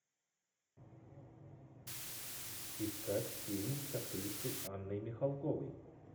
искать фильм с актрисой анной михалковой